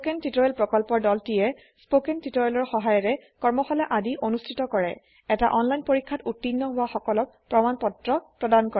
spoken tutorial প্ৰকল্পৰ দলটিয়ে spoken টিওটৰিয়েলৰ সহায়েৰে কৰ্মশালা আদি অনুষ্ঠিত কৰে এটা অনলাইন পৰীক্ষাত উত্তীৰ্ণ হোৱা সকলক প্ৰমাণ পত্ৰ প্ৰদান কৰে